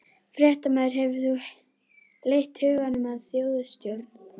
Fréttamaður: Hefur þú leitt hugann að þjóðstjórn?